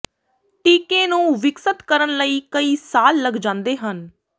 ਟੀਕੇ ਨੂੰ ਵਿਕਸਤ ਕਰਨ ਲਈ ਕਈ ਸਾਲ ਲੱਗ ਜਾਂਦੇ ਹਨ